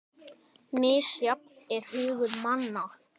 Misjafn er hugur manna